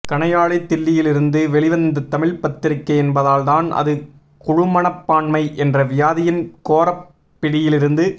கணையாழி தில்லியிலிருந்து வெளி வந்த தமிழ்ப் பத்திரிகை என்பதால்தான் அது குழுமனப்பான்மை என்ற வியாதியின் கோரப் பிடியிலிருந்து